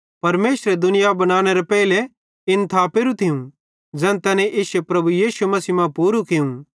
परमेशरे दुनिया बनानेरे पेइलो इन्ने थापेरू थियूं ज़ैन तैने इश्शे प्रभु यीशु मसीह मां पूरू कियूं